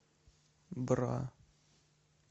бра